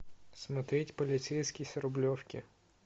смотреть полицейский с рублевки